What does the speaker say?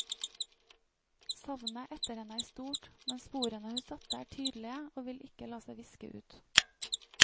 Savnet etter henne er stort, men sporene hun satte, er tydelige og vil ikke la seg viske ut.